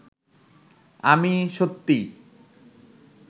আমি সত্যি